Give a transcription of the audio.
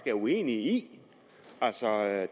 er uenige i altså